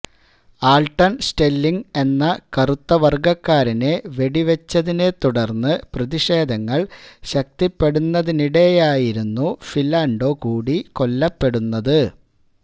Alton Sterling എന്ന കറുത്തവര്ഗക്കാരനെ വെടിവെച്ചതിനെ തുടര്ന്ന് പ്രതിഷേധങ്ങള് ശക്തിപ്പെടുന്നതിനിടെയായിരുന്നു ഫിലാണ്ടോ കൂടി കൊല്ലപ്പെടുന്നത്